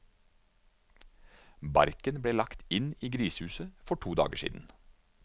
Barken ble lagt inn i grisehuset for to dager siden.